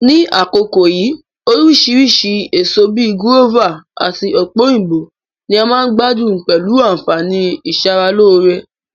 Ní àkókó yìí, orísìrísi èso bi gúrọ́fà àtí ọ̀pẹ̀-òyìnbó ni a ma n gbádún pẹ̀lu ànfàní ìsara-lóree